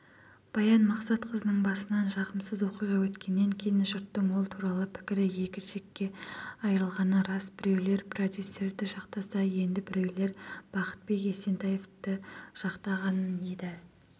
баян мақсатқызының басынан жағымсызоқиға өткеннен кейінжұрттың ол туралы пікірі екі жікке айырылғаны рас біреулерпродюсерді жақтаса енді біреулербақытбек есентаевты жақтаған еді